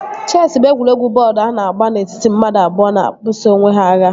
Chesị bụ egwuregwu bọọdu a na-agba n'etiti mmadụ abụọ na-ebuso onwe ha agha